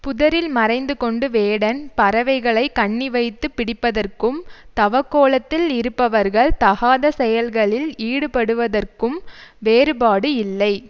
புதரில் மறைந்து கொண்டு வேடன் பறவைகளை கண்ணி வைத்து பிடிப்பதற்கும் தவக்கோலத்தில் இருப்பவர்கள் தகாத செயல்களில் ஈடுபடுவதற்கும் வேறுபாடு இல்லை